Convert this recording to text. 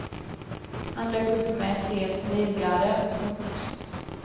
Han dök upp med ett helt livgarde. punkt